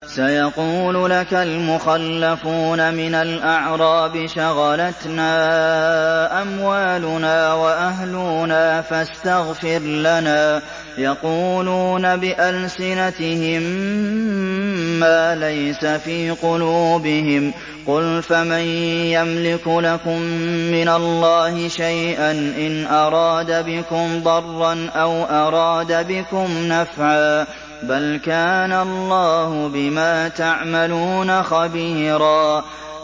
سَيَقُولُ لَكَ الْمُخَلَّفُونَ مِنَ الْأَعْرَابِ شَغَلَتْنَا أَمْوَالُنَا وَأَهْلُونَا فَاسْتَغْفِرْ لَنَا ۚ يَقُولُونَ بِأَلْسِنَتِهِم مَّا لَيْسَ فِي قُلُوبِهِمْ ۚ قُلْ فَمَن يَمْلِكُ لَكُم مِّنَ اللَّهِ شَيْئًا إِنْ أَرَادَ بِكُمْ ضَرًّا أَوْ أَرَادَ بِكُمْ نَفْعًا ۚ بَلْ كَانَ اللَّهُ بِمَا تَعْمَلُونَ خَبِيرًا